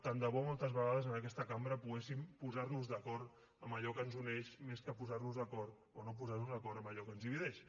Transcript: tant de bo moltes vegades en aquesta cambra poguéssim posar nos d’acord en allò que ens uneix més que posar nos d’acord o no posar nos d’acord en allò que ens divideix